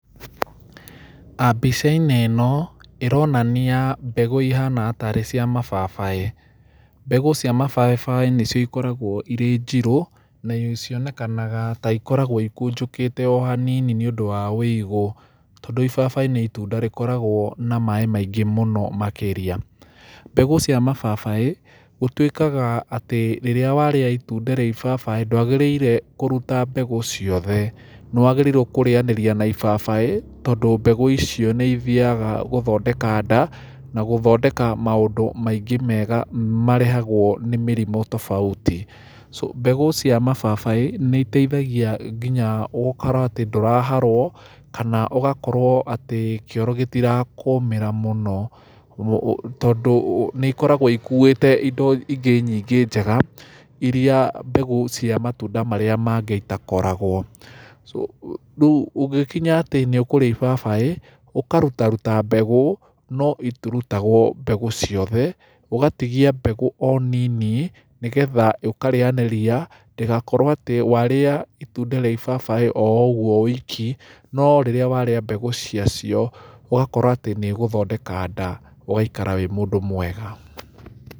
Mbica-inĩ ĩno, ĩronania mbegũ ihana tarĩ cia mababaĩ. Mbegũ cia mababaĩ nĩ cio ikoragwo irĩ njirũ, na cionekanaga ta ikoragwo ikũnjũkĩte o hanini nĩ ũndũ wa wĩigũ. Tondũ ibabaĩ nĩ itunda rĩkoragwo na maaĩ maingĩ mũno makĩria. Mbegũ cia mababaĩ, gũtuĩkaga atĩ rĩrĩa warĩa itunda rĩa ibabaĩ ndũagĩrĩire kũruta mbegũ ciothe. Nĩ waigĩrĩirwo kũrĩanĩria na ibabaĩ, tondũ mbegũ icio nĩ ithiaga gũthondeka nda, na gũthondeka maũndũ maingĩ mega marehagwo nĩ mĩrimũ tofauti. Mbegũ cia mababaĩ, nĩ iteithagia nginya gũkorwo atĩ ndũraharwo, kana ũgakorwo atĩ kĩoro gĩtirakũũmĩra mũno. Tondũ nĩ ikoragwo ikuĩte indo ingĩ nyingĩ njega, irĩa mbegũ cia matunda marĩa mangĩ itakoragwo. Rĩu ũgĩkinya atĩ nĩ ũkũrĩa ibabaĩ, ũkarutaruta mbegũ, no itirutagwo mbegũ ciothe, ũgatigia mbegũ o nini, nĩgetha ũkarĩanĩria, ndĩgakorwo atĩ warĩa itunda rĩa ibabaĩ o ũguo wiki, no rĩrĩa waríĩ mbegũ cia cio, ũgakorwo atĩ ũgũthondeka nda, ũgaikara wĩ mũndũ mwega.